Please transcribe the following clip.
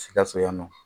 Sikaso yan nɔ